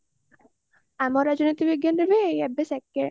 ଆମ ରାଜନୀତି ବିଜ୍ଞାନରେ ଏବେ second